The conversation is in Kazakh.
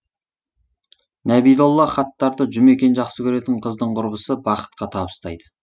нәбидолла хаттарды жұмекен жақсы көретін қыздың құрбысы бақытқа табыстайды